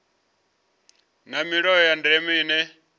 na milayo ya ndeme ine